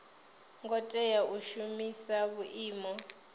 ngo tea u shumisa vhuimo